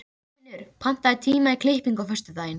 Þorfinnur, pantaðu tíma í klippingu á föstudaginn.